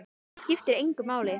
Það skiptir engu máli!